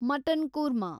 mutton korma